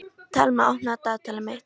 Thelma, opnaðu dagatalið mitt.